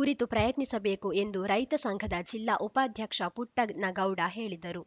ಕುರಿತು ಪ್ರಯತ್ನಿಸಬೇಕು ಎಂದು ರೈತಸಂಘದ ಜಿಲ್ಲಾ ಉಪಾಧ್ಯಕ್ಷ ಪುಟ್ಟನಗೌಡ ಹೇಳಿದರು